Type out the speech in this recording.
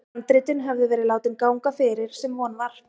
Handritin höfðu verið látin ganga fyrir, sem von var.